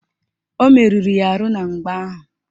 O meruru ya arụ na mgba ahụ